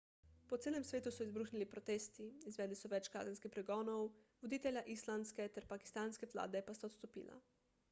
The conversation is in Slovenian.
po celem svetu so izbruhnili protesti izvedli so več kazenskih pregonov voditelja islandske ter pakistanske vlade pa sta odstopila